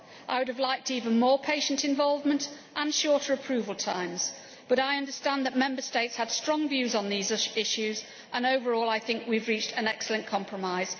I would have liked even more patient involvement and shorter approval times but I understand that Member States had strong views on these issues and overall I think we have reached an excellent compromise.